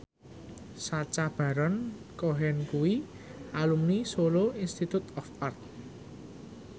Sacha Baron Cohen kuwi alumni Solo Institute of Art